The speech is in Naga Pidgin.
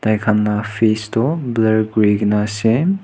Thaikhan la face toh blurr kurikena ase.